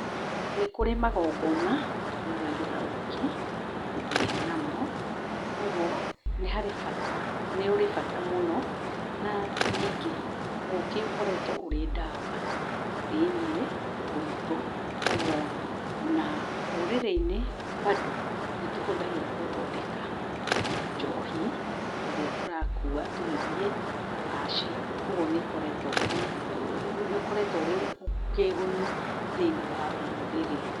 Nĩkũrĩ magongona tũhũthagĩra ũkĩ gũthiĩ namo, kwogwo nĩ harĩ bata, nĩũrĩ bata mũno. Na nyingĩ ũkĩ ũkoretwo ũrĩ ndawa thĩiniĩ witũ kwogwo na rũrĩrĩ-inĩ bado nĩtũhũthagĩra gũthondeka njohi ĩrĩa tũrakua tũgĩthiĩ kũracia, kwogwo nĩũkoretwe wĩkĩguni thĩiniĩ warũrĩrĩ.